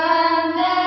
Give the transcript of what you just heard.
ಧ್ವನಿVandeMatram